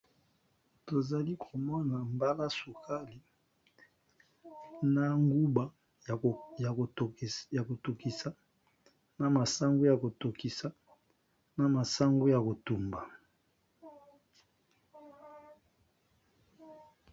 tozali komona mbala sokali na nguba ya kotokisa na masango ya kotokisa na masango ya kotumba